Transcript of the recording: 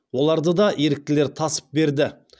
оларды да еріктілер тасып берді